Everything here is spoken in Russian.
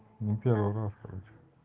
ну первый раз короче